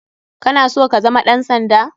Kana so kazama ɗan sanda?